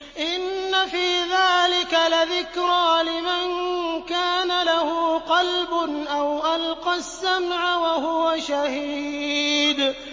إِنَّ فِي ذَٰلِكَ لَذِكْرَىٰ لِمَن كَانَ لَهُ قَلْبٌ أَوْ أَلْقَى السَّمْعَ وَهُوَ شَهِيدٌ